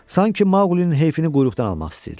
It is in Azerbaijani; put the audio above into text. Sanki Maqulinin heyfini quyruqdan almaq istəyirdilər.